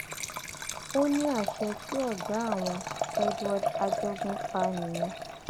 ó ní àṣẹ tí ọgá àwọn cc edward ajogun pa nìyẹn